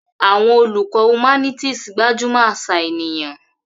Àwọn olùkọ́ humanities gbájú mọ́ àṣà ènìyàn.